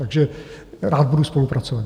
Takže rád budu spolupracovat.